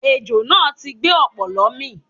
Ejò náà ti gbé ọ̀pọ̀lọ́ mì